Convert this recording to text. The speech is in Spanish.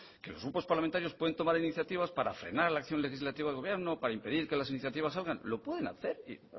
que los grupos parlamentarios pueden tomar iniciativas para frenar la acción legislativa del gobierno para impedir que las iniciativas salgan lo pueden hacer vamos